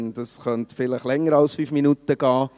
Das könnte vielleicht länger als fünf Minuten dauern.